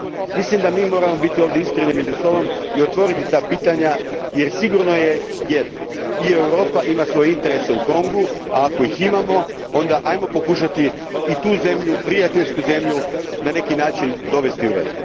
Mislim da moramo biti iskreni među sobom i otvoriti ta pitanja jer sigurno je jedno i Europa ima svoje interese u Kongu, a ako ih imamo, onda ajmo pokušati tu prijateljsku zemlju na neki način dovesti u red.